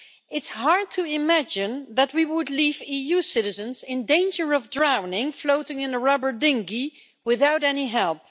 It's hard to imagine that we would leave EU citizens in danger of drowning, floating in a rubber dinghy without any help.